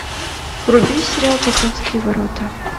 вруби сериал покровские ворота